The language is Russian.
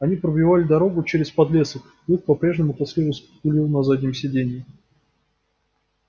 они пробивали дорогу через подлесок клык по-прежнему тоскливо скулил на заднем сиденье